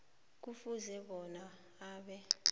kufuze bona abe